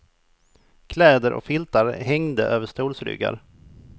Kläder och filtar hängde över stolsryggar.